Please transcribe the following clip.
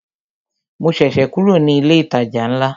Mo ṣẹ̀ṣẹ̀ kúrò ní ilé ìtajà ńlá